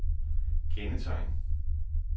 kendetegn